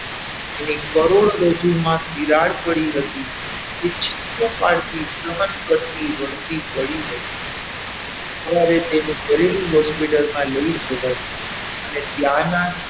એની કરોડરજ્જુમાં તિરાડ પડી હતી એ ચીસો પાડતી સહન કરતી રડતી પડી હતી સવાર માં તેનું ગરેલું hospital લઈ જવામાં આવી અને ત્યાંના,